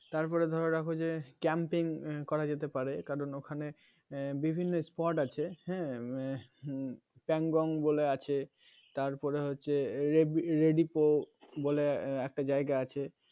তারপরে ধরে রাখো যে camping করা যেতে পারে কারণ ওখানে বিভিন্ন sport আছে হ্যাঁ উম pangong বলে আছে তারপরে হচ্ছে redipo বলে একটা জায়গা আছে